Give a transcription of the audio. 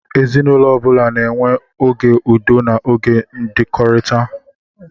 Ezinaụlọ ọ bụla na-enwe oge udo na oge ndọkọrita (esemokwu).